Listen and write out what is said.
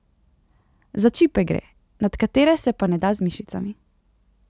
Za čipe gre, nad katere se pa ne da z mišicami.